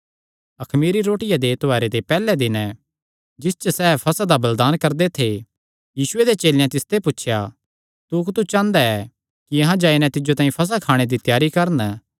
अखमीरी रोटिया दे त्योहारे दे पैहल्ले दिने जिस च सैह़ फसह दा बलिदान करदे थे यीशुये दे चेलेयां तिसते पुछया तू कुत्थू चांह़दा ऐ कि अहां जाई नैं तिज्जो तांई फसह खाणे दी त्यारी करन